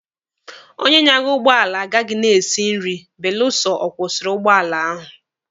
Onye nyaga ụgbọala agaghị na-esi nri beluso ọ kwụsịrị ụgbọala ahụ